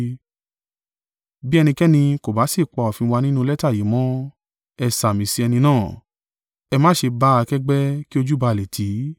Bí ẹnikẹ́ni kò bá sì pa òfin wa nínú lẹ́tà yìí mọ́, ẹ sàmì sí ẹni náà. Ẹ má ṣe bá a kẹ́gbẹ́ kí ojú bà á le tì í.